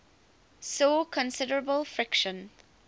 saw considerable friction